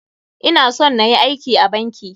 Ina son nayi aiki a banki.